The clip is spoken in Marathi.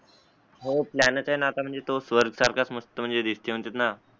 हो प्लॅनच आहै ना आता म्हणजे तो स्वर्ग सारखा मणजे दिसतंय ना